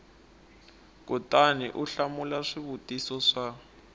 kutani u hlamula swivutiso swa